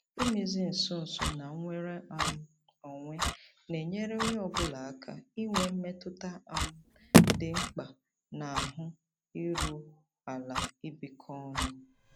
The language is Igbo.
Imezi nso nso na nnwere um onwe na-enyere onye ọ bụla aka inwe mmetụta um dị mkpa na ahụ iru ala ibikọ ọnụ.